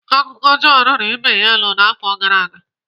Akụkọ ọjọọ riri ibe ya elu n'afọ gara aga.